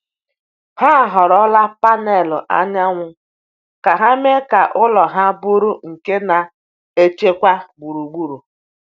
Ha họrọla panelụ anyanwụ ka ha mee ka ụlọ ha bụrụ nke na-echekwa gburugburu.